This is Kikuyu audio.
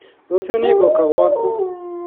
Rũciũ nĩngũũka gwaku